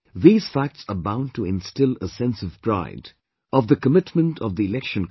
These facts are bound to instil a sense of pride, of the commitment of the Election Commission